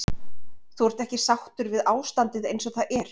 Þú ert ekki sáttur við ástandið eins og það er?